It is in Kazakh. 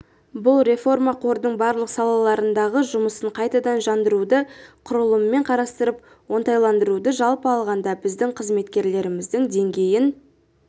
бұл реформа қордың барлық салалардағы жұмысын қайтадан жандандыруды құрылымын қарастырып оңтайландыруды жалпы алғанда біздің қызметкерлеріміздің деңгейін